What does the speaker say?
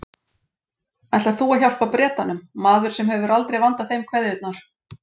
Ætlar þú að hjálpa Bretanum, maður sem hefur aldrei vandað þeim kveðjurnar?